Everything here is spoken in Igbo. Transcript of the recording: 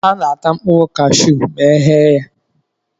A na-ata mkpụrụ kashụụ ma eghe ya.